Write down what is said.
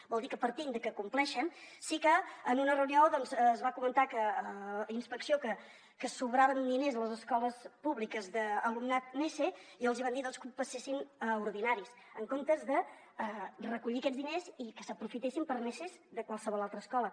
vol dir que partint de que compleixen sí que en una reunió doncs es va comentar inspecció que sobraven diners a les escoles públiques d’alumnat nese i els hi van dir doncs que els passessin a ordinaris en comptes de recollir aquests diners i que s’aprofitessin per a neses de qualsevol altra escola